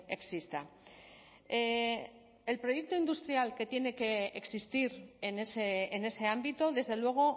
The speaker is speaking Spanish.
exista el proyecto industrial que tiene que existir en ese ámbito desde luego